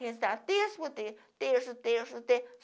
Rezar terço por terço, terço, terço, terço.